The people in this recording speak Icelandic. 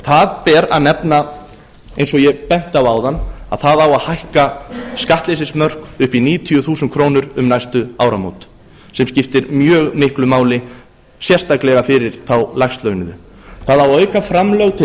það ber að nefna eins og ég benti á áðan að það á að hækka skattleysismörk upp í níutíu þúsund krónur um næstu áramót sem skiptir mjög miklu máli sérstaklega fyrir þá lægst launuðu það á að auka framlög til